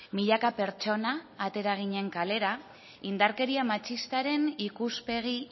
milaka pertsona atera ginen kalera indarkeri matxistaren ikuspegi